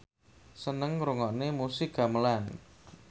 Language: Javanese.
seneng ngrungokne musik gamelan